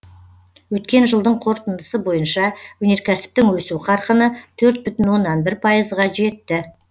өткен жылдың қорытындысы бойынша өнеркәсіптің өсу қарқыны төрт бүтін оннан бір пайызға жетті